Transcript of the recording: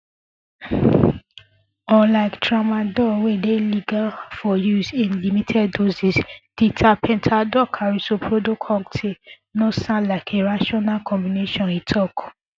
unlike tramadol wey dey legal for use in limited doses di tapentadolcarisoprodol cocktail no sound like a rational combination e tok